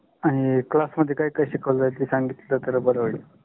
आणि class मधे काय काय शिकावल जाईल ते संगितल तर बर होइल.